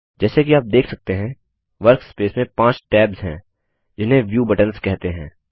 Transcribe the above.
जैसे कि आप देख सकते हैं वर्कस्पेस में 5 टैब्स हैं जिन्हें व्यू बटन्स कहते हैं